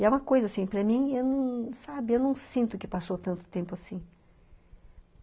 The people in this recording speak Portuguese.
E é uma coisa assim, para mim, sabe, eu não sinto que passou tanto tempo assim.